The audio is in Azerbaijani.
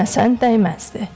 Dəyməsən, dəyməzdi.